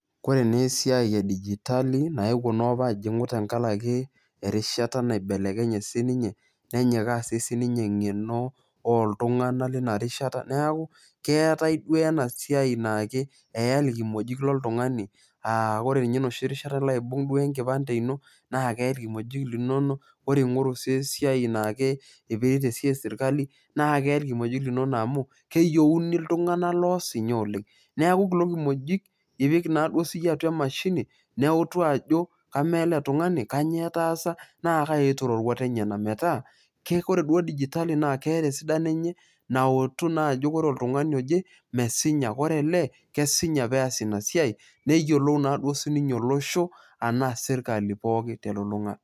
Koreneesiai edijitali naepuo noopa ajing'u tengarake erishata naibelekenye sininye nenyikaa sii sininye eng'eno ooltung'ana leina rishata, neaku keetai duo ena siai naake eyai ilkimojik loltung'ani aah kore ninye noshi rishata ilo aibung' duo  enkipande ino naakeyai ilkimojik linono, ore ing'oru sii esiai naake eipirita esiai  esirkali naakeyai ilkimojik linono amu keyeuni iltung'ana loosinya oleng'. Neaku kulo kimojik ipik naaduo siyie atua  emashini neutu ajo kamaaele tung'ani kanyoo etaasa naakai etiu roruat enyena metaa keekore duo digitali naakeeta esidano enye nautu naa ajo kore oltungani oje mesinya, kore ele kesinya peas ina siai neyiolou naaduo sininye olosho anaa  sirkali pooki telulung'ata.